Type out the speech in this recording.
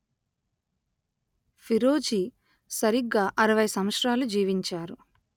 ఫీరోజి సరిగా అరవై సంవత్సరాలు జీవించారు